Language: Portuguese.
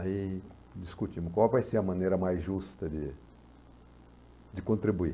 Aí discutimos qual vai ser a maneira mais justa de de contribuir.